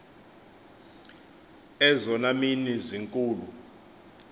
ezona mini zinkulu